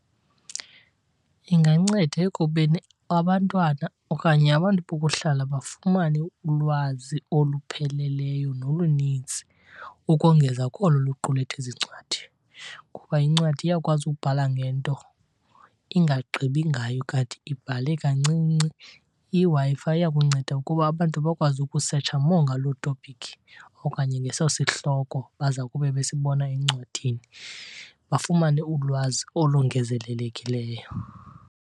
Inganceda ekubeni abantwana okanye abantu bokuhlala bafumane ulwazi olupheleleyo nolunintsi ukongeza kolo luqulethwe ziincwadi, ngoba incwadi iyakwazi ukubhala ngento ingagqibi ngayo kanti ibhale kancinci. IWi-Fi iyakunceda ukuba abantu bakwazi ukusetsha more ngaloo topic okanye ngeso sihloko baza kube besibona encwadini, bafumane ulwazi olongezelelekileyo.